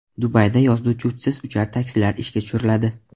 Dubayda yozda uchuvchisiz uchar taksilar ishga tushiriladi.